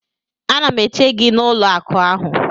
Ana m eche gị n'ụlọ akụ ahụ